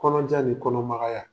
Kɔnɔjan ni kɔnɔmagaya